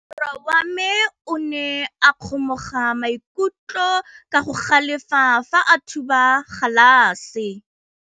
Morwa wa me o ne a kgomoga maikutlo ka go galefa fa a thuba galase.